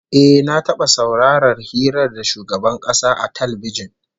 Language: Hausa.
Eh, na taba saurarar hira da shugaban kasa a talbijin